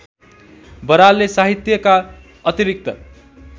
बरालले साहित्यका अतिरिक्त